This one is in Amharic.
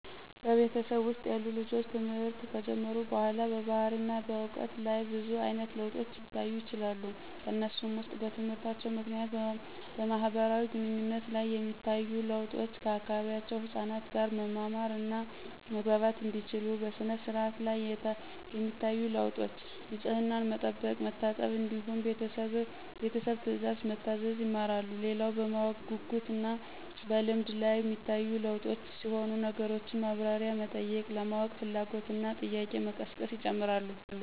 በቤተሰብ ውስጥ ያሉ ልጆች ትምህርት ከጀመሩ በኋላ በባህሪና በዕውቀት ላይ ብዙ አይነት ለውጦች ሊታዩ ይችላሉ። ከነሱም ውስጥ በትምህርታቸው ምክንያት በማህበራዊ ግንኙነት ላይ የሚታዩ ለውጦች፤ ከአካባቢው ህፃናት ጋር መማማር እና መግባባት እንዲችሉ፣ በሥነ-ስርዓት ላይ የሚታዩ ለውጦች፤ ንፅህናን መጠበቅ፣ መታጠብ እንዲሁም ቤተሰብ ትእዛዝ መታዘዝ ይማራሉ። ሌላው በማወቅ ጉጉት እና በልምድ ላይ ሚታዩ ለውጦች ሲሆኑ ነገሮችን ማብራሪያ መጠየቅ፣ ለማወቅ ፍላጎት እና ጥያቄ መቀስቀስ ይጨመራሉ።